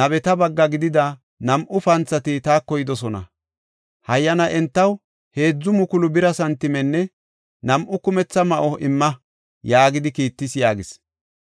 nabeta bagga gidida nam7u panthati taako yidosona. Hayyana entaw heedzu mukulu bira santimenne nam7u kumetha ma7o imma’ yaagidi kiittis” yaagis.